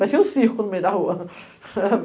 Parecia um circo no meio da rua.